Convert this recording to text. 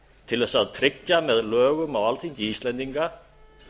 til þess að tryggja með lögum á alþingi íslendinga